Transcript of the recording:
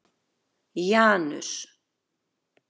Janus